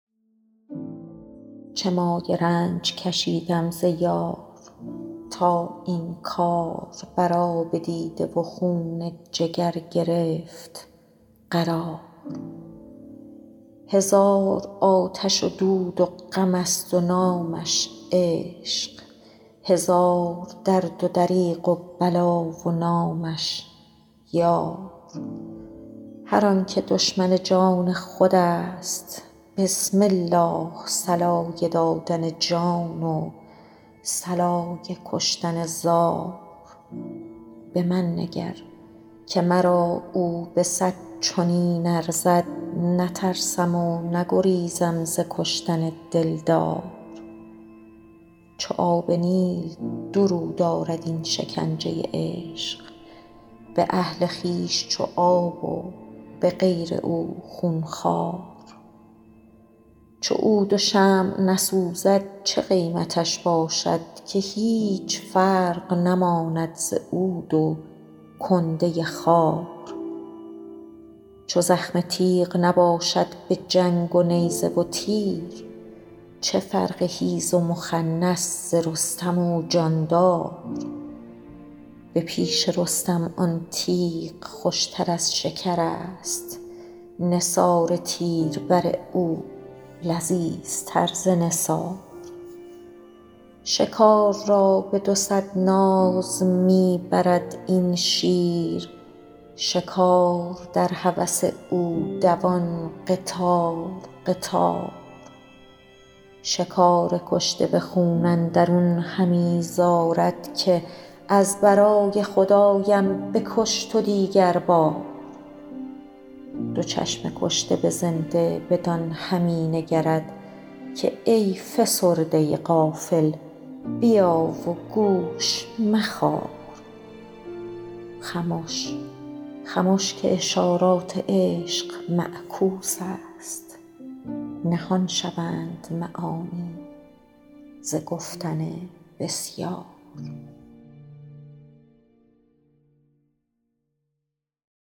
چه مایه رنج کشیدم ز یار تا این کار بر آب دیده و خون جگر گرفت قرار هزار آتش و دود و غمست و نامش عشق هزار درد و دریغ و بلا و نامش یار هر آنک دشمن جان خودست بسم الله صلای دادن جان و صلای کشتن زار به من نگر که مرا او به صد چنین ارزد نترسم و نگریزم ز کشتن دلدار چو آب نیل دو رو دارد این شکنجه عشق به اهل خویش چو آب و به غیر او خون خوار چو عود و شمع نسوزد چه قیمتش باشد که هیچ فرق نماند ز عود و کنده خار چو زخم تیغ نباشد به جنگ و نیزه و تیر چه فرق حیز و مخنث ز رستم و جاندار به پیش رستم آن تیغ خوشتر از شکرست نثار تیر بر او لذیذتر ز نثار شکار را به دوصد ناز می برد این شیر شکار در هوس او دوان قطار قطار شکار کشته به خون اندرون همی زارد که از برای خدایم بکش تو دیگربار دو چشم کشته به زنده بدان همی نگرد که ای فسرده غافل بیا و گوش مخار خمش خمش که اشارات عشق معکوسست نهان شوند معانی ز گفتن بسیار